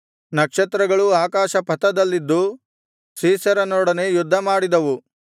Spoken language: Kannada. ನಕ್ಷತ್ರಗಳೂ ಆಕಾಶಪಥದಲ್ಲಿದ್ದು ಸೀಸೆರನೊಡನೆ ಯುದ್ಧಮಾಡಿದವು